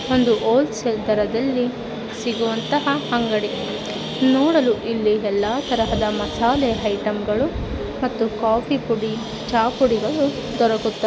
ಒಂದು ಹೊಲ್ಸೇಲ್ ದರದಲ್ಲಿ ಸಿಗುವಂತಹ ಅಂಗಡಿ ನೋಡಲು ಇಲ್ಲಿ ಎಲ್ಲಾ ತರಹದ ಮಸಾಲೆ ಐಟಂಗಳು ಮತ್ತು ಕಾಫೀ ಪುಡಿ ಚಾಪುಡಿಗಳು ದೊರಕುತ್ತ --